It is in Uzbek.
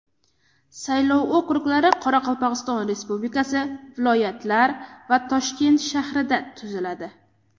Saylov okruglari Qoraqalpog‘iston Respublikasi, viloyatlar va Toshkent shahrida tuziladi.